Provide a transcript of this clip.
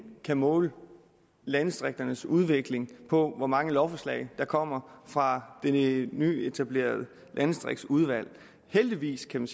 kan måle landdistrikternes udvikling på hvor mange lovforslag der kommer fra det nyetablerede landdistriktsudvalg heldigvis kan